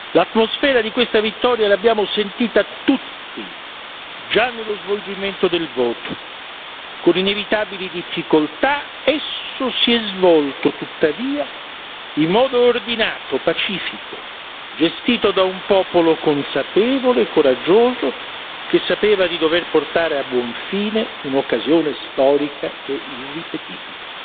L'atmosfera di questa vittoria l'abbiamo sentita tutti già nello svolgimento del voto con inevitabili difficoltà, esso si è svolto tuttavia in modo ordinato, pacifico, gestito da un popolo consapevole e coraggioso, che sapeva di dover portare a buon fine un'occasione storica e irripetibile.